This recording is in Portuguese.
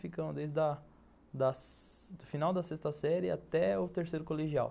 Ficamos desde da da o final da sexta série até o terceiro colegial.